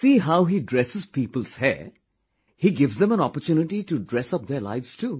See how he dresses people's hair, he gives them an opportunity to dress up their lives too